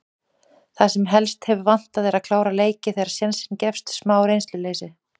Það sem helst hefur vantað er að klára leiki þegar sénsinn gefst. smá reynsluleysi.